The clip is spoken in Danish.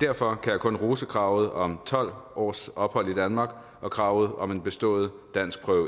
derfor kan jeg kun rose kravet om tolv års ophold i danmark og kravet om en bestået danskprøve